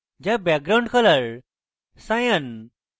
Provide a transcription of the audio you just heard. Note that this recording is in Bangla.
যা background color cyan